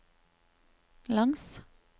langs